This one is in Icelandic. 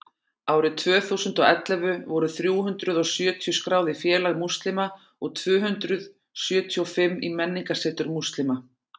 árið tvö þúsund og ellefu voru þrjú hundruð og sjötíu skráðir í félag múslima og tvö hundruð sjötíu og fimm í menningarsetur múslima